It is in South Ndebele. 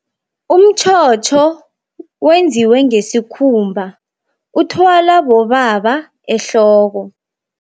Umtjhotjho wenziwe ngesikhumba, uthwalwa bobaba ehloko.